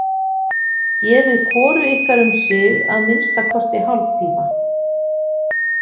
Gefið hvoru ykkar um sig að minnsta kosti hálftíma.